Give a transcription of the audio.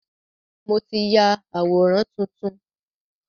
Mo ti ya àwòrán tuntun.